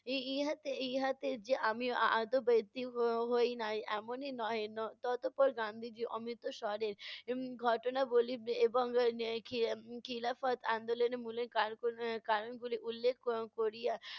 এই ইহাতে ইহাতে যে আমি হ~ হই না ই এমনি নহে। ত~ ততপর গান্ধীজী অমৃত স্বরে উম ঘটনাবলি এবং নে খি~ খিলাফত আন্দলনের মূলের কা~ কারণগুলি উল্লেখ কর~ করিয়া